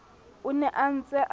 o ne a ntse a